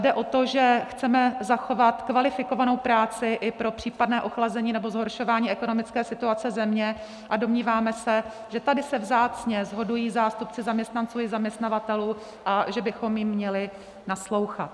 Jde o to, že chceme zachovat kvalifikovanou práci i pro případné ochlazení nebo zhoršování ekonomické situace země, a domníváme se, že tady se vzácně shodují zástupci zaměstnanců i zaměstnavatelů a že bychom jim měli naslouchat.